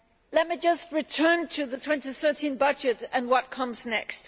Let me just return to the 2013 budget and what comes next.